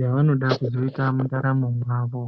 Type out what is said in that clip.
yavanoda kuzoita mundaramo mwavo